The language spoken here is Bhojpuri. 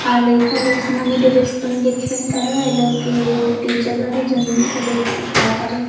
आ लइका लोग आसमानी ड्रेस पहिन के खेलता लोग। आ ए लोग के एगो टीचर बाड़ी जौन इ लोग के सिखावतड़ी।